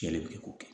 Yɛlɛ bi k'o kɛ